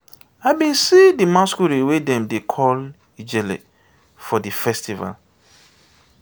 i bin see di masqurade wey dem dey call ijele for di festival.